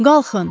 Qalxın,